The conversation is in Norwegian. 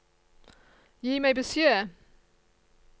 Gi meg beskjed